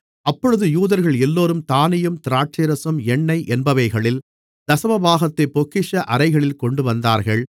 அப்பொழுது யூதர்கள் எல்லோரும் தானியம் திராட்சைரசம் எண்ணெய் என்பவைகளில் தசமபாகத்தைப் பொக்கிஷ அறைகளில் கொண்டுவந்தார்கள்